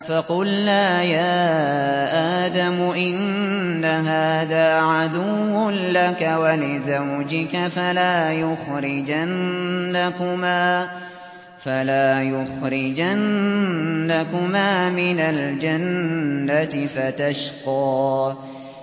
فَقُلْنَا يَا آدَمُ إِنَّ هَٰذَا عَدُوٌّ لَّكَ وَلِزَوْجِكَ فَلَا يُخْرِجَنَّكُمَا مِنَ الْجَنَّةِ فَتَشْقَىٰ